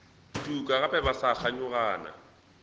tuka gape ba sa kganyogana